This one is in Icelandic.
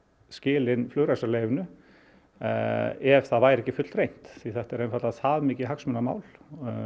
skila inn flugrekstrarleyfinu ef það væri ekki fullreynt því þetta er einfaldlega það mikið hagsmunamál